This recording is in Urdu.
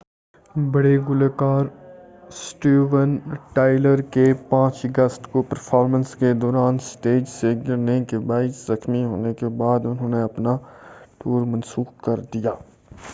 بڑے گلوکار سٹیون ٹائلر کے 5 اگست کو پرفارمنس کے دوران اسٹیج سے گرنے کے باعث زخمی ہونے کے بعد انہوں نے اپنا ٹور منسوخ کر دیا ہے